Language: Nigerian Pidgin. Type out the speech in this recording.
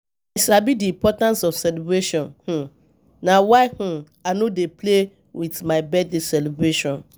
I sabi di importance of celebration, um na why um I no um dey play with my birthday celebration.